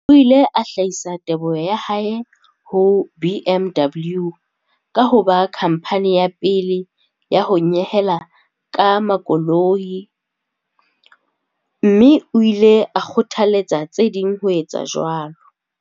O ile a hlahisa teboho ya hae ho BMW ka ho ba khamphani ya pele ya ho nyehela ka makoloi, mme o ile a kgothaletsa tse ding ho etsa jwalo.